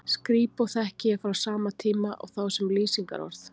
Skrípó þekki ég frá sama tíma og þá sem lýsingarorð.